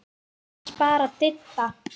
Annars bara Didda.